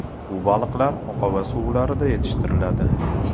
Bu baliqlar oqova suvlarda yetishtiriladi.